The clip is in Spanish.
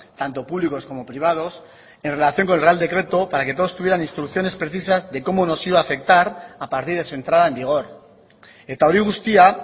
tanto públicos como privados en relación con el real decreto para que todos tuvieran instrucciones precisas de cómo nos iba a afectar a partir de su entrada en vigor eta hori guztia